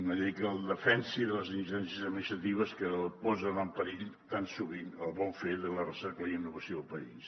una llei que el defensi de les ingerències administratives que posen en perill tan sovint el bon fer de la recerca i la innovació del país